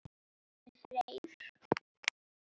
Árni Freyr.